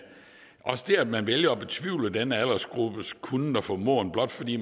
også det at man vælger at betvivle denne aldersgruppes kunnen og formåen blot fordi